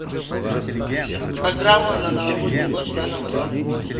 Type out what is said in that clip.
программа на новогоднюю ночь в данном отеле